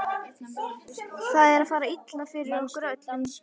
Það er að fara illa fyrir okkur öllum.